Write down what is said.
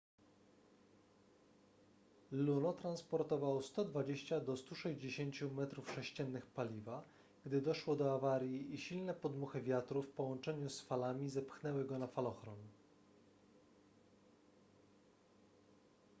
luno transportował 120-160 metrów sześciennych paliwa gdy doszło do awarii i silne podmuchy wiatru w połączeniu z falami zepchnęły go na falochron